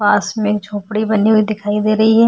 पास में एक झोपड़ी बनी हुई दिखाई दे रही है।